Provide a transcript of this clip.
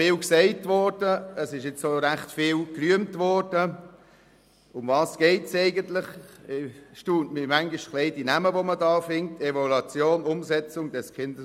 Die Bezeichnungen erstaunen mich manchmal etwas: Evaluation, Umsetzung des KESG.